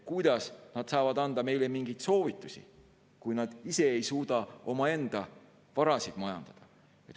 Kuidas nad saavad anda meile mingeid soovitusi, kui nad ei suuda ise omaenda varasid majandada?